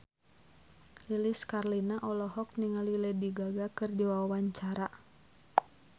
Lilis Karlina olohok ningali Lady Gaga keur diwawancara